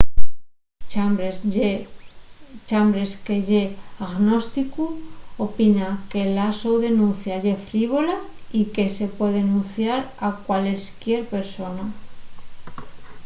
chambers que ye agnósticu opina que la so denuncia ye frívola” y que se puede denunciar a cualesquier persona.